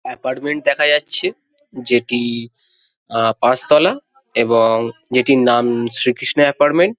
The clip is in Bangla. এপার্টমেন্ট দেখা যাচ্ছে যে টিইইই আ পঁচাতলা এবং যেটির নাম শ্রীকৃষ্ণ এপার্টমেন্ট ।